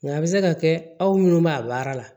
Nka a bɛ se ka kɛ aw minnu b'a baara la